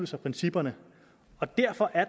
sig principperne og derfor er